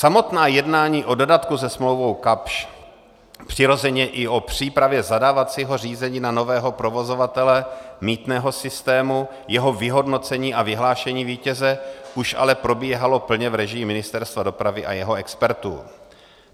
Samotná jednání o dodatku se smlouvou Kapsch, přirozeně i o přípravě zadávacího řízení na nového provozovatele mýtného systému, jeho vyhodnocení a vyhlášení vítěze už ale probíhala plně v režii Ministerstva dopravy a jeho expertů.